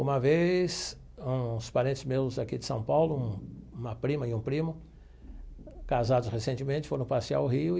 Uma vez, uns parentes meus aqui de São Paulo, um uma prima e um primo, casados recentemente, foram passear o Rio.